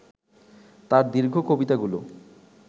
তার দীর্ঘ কবিতাগুলো